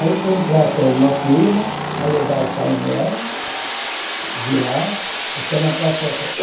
Aí, contratou uma firma para levar o painel de lá até na Praça Sé.